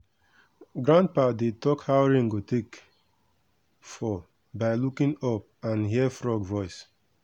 grandpa dey talk how rain go take fall by looking up and hear frog voice.